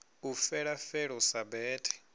u fela felo sa bete